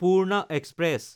Purna express